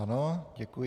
Ano, děkuji.